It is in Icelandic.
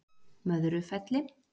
Möðrufelli